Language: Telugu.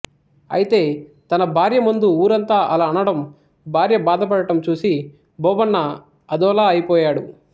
అయితే తన భార్యముందు ఊరంతా అలా అనడం భార్య బాధపడడం చూసి బోబన్న అదోలా అయిపోయాడు